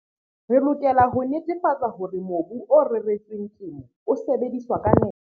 Re lokela ho netefatsa hore mobu o reretsweng temo o sebediswa ka nepo.